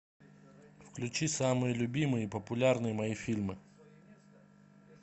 включи самые любимые популярные мои фильмы